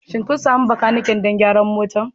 Shin kun sami makaniki don gyara motar?